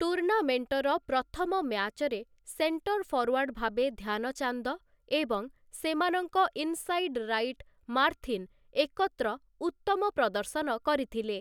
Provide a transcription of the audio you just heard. ଟୁର୍ଣ୍ଣାମେଣ୍ଟର ପ୍ରଥମ ମ୍ୟାଚରେ ସେଣ୍ଟର ଫରୱାର୍ଡ଼ ଭାବେ ଧ୍ୟାନଚାନ୍ଦ ଏବଂ ସେମାନଙ୍କ ଇନ୍ସାଇଡ ରାଇଟ ମାର୍ଥିନ ଏକତ୍ର ଉତ୍ତମ ପ୍ରଦର୍ଶନ କରିଥିଲେ ।